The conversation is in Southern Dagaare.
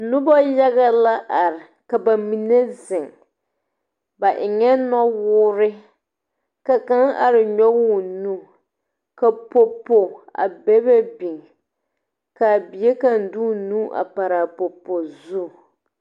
Nobɔ yaga la are. Ka ba mene zeŋ. Ba eŋe nowuure. Ka kanga are nyoɔge o nu. Ka popo a bebe biŋ. Ka a bie kang de o nu a paraa popo zu.